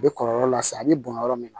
A bɛ kɔlɔlɔ lase a bɛ bɔn yɔrɔ min na